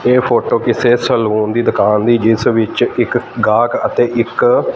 ਇਹ ਫੋਟੋ ਕਿਸੇ ਸਲੂਨ ਦੀ ਦੁਕਾਨ ਦੀ ਜਿਸ ਵਿੱਚ ਇੱਕ ਗਾਹਕ ਅਤੇ ਇੱਕ--